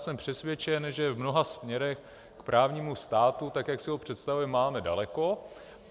Jsem přesvědčen, že v mnoha směrech k právnímu státu, tak jak si ho představujeme, máme daleko.